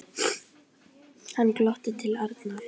Hann glotti til Arnar.